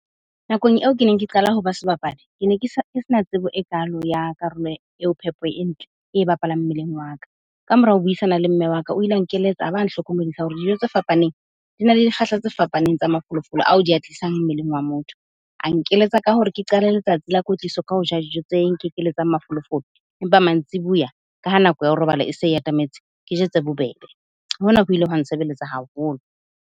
Nakong eo ke neng ke qala ho ba sebapadi, ke ne ke sa, ke se na tsebo e kaalo ya karolo eo phepo e ntle e bapalang mmeleng wa ka. Ka mora ho buisana le mme wa ka, o ile a nkeletsa a ba a hlokomedisa hore dijo tse fapaneng di na le dikgahla tse fapaneng tsa mafolofolo ao di a tlisang mmeleng wa motho. A nkeletsa ka hore ke qale letsatsi la kwetliso ka ho ja dijo tse nkekeletsang mafolofolo, empa mantsiboya ka ha nako ya ho robala e se e atametse, ke je tse bobebe. Hona ho ile hwa nsebeletsa haholo.